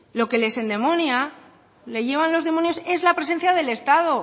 lo que les endemonia le llevan los demonios es la presencia del estado